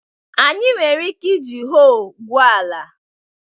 Anyị nwere ike iji hoe gwuo ala